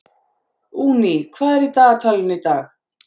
Uni, hvað er í dagatalinu í dag?